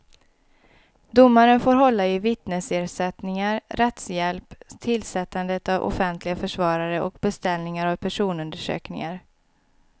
Domaren får hålla i vittnesersättningar, rättshjälp, tillsättandet av offentliga försvarare och beställningar av personundersökningar.